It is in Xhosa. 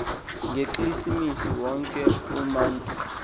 ngekilisimesi wonke umatu